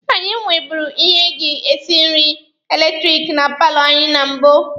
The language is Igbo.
Anyị nweburu ihe eji esi nri eletiriki na paalọ anyị na mbụ